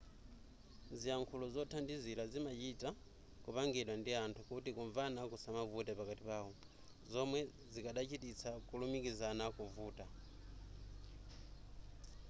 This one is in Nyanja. ziyankhulo zothandizira zimachita kupangidwa ndi anthu kuti kumvana kusamavute pakati pawo zomwe zikadachititsa kulumikizana kuvuta